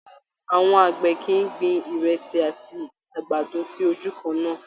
Àwọn àgbẹ̀ kìí gbin ìrẹsì àti àgbàdo sí ojú kannáà.